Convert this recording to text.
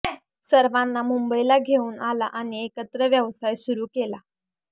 सर्वांना मुंबईला घेऊन आला आणि एकत्र व्यवसाय सुरू केला